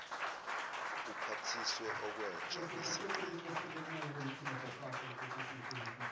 uphathiswe okwenja nesigqila